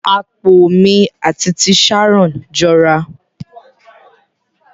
Apó mi at ti Sharon jọra.